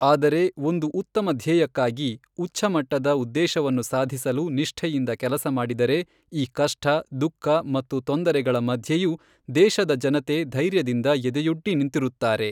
ಆದರೆ ಒಂದು ಉತ್ತಮ ಧ್ಯೇಯಕ್ಕಾಗಿ, ಉಚ್ಚ ಮಟ್ಟದ ಉದ್ದೇಶವನ್ನು ಸಾಧಿಸಲು ನಿಷ್ಠೆಯಿಂದ ಕೆಲಸ ಮಾಡಿದರೆ ಈ ಕಷ್ಟ, ದುಃಖ ಮತ್ತು ತೊಂದರೆಗಳ ಮಧ್ಯೆಯೂ ದೇಶದ ಜನತೆ ಧೈರ್ಯದಿಂದ ಎದೆಯೊಡ್ಡಿ ನಿಂತಿರುತ್ತಾರೆ.